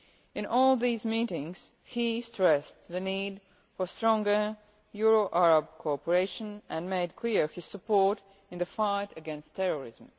In all these meetings, he stressed the need for stronger Euro Arab co-operation and made clear his support in the fight against terrorism.